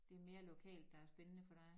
Det mere lokalt der er spændende for dig?